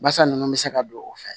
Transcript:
Basa nunnu bɛ se ka don o fɛ